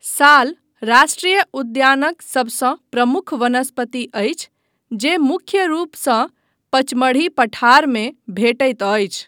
साल राष्ट्रीय उद्यानक सभसँ प्रमुख वनस्पति अछि जे मुख्य रूपसँ पचमढ़ी पठारमे भेटैत अछि।